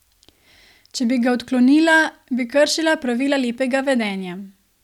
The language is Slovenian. Če bi ga odklonila, bi kršila pravila lepega vedenja.